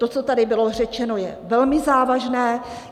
To, co tady bylo řečeno, je velmi závažné.